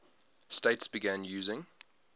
states began using